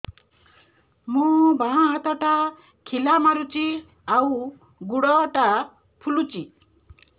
ମୋ ବାଆଁ ହାତଟା ଖିଲା ମାରୁଚି ଆଉ ଗୁଡ଼ ଟା ଫୁଲୁଚି